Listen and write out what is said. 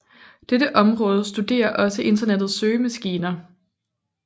Dette område studerer også Internettets søgemaskiner